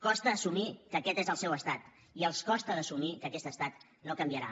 costa assumir que aquest és el seu estat i els costa d’assumir que aquest estat no canviarà